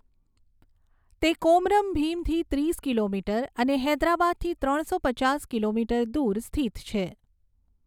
તે કોમરમ ભીમથી ત્રીસ કિલોમીટર અને હૈદરાબાદથી ત્રણસો પચાસ કિલોમીટર દૂર સ્થિત છે.